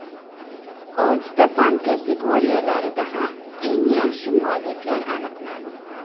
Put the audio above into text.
Oltita fan kategoriyalarida ham eng yaxshi mualliflar aniqlandi.